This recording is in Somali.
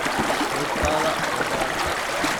Luugtadha way bararte.